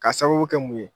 Ka sababu kɛ mun ye